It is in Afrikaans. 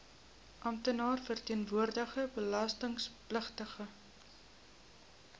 amptenaar verteenwoordigende belastingpligtige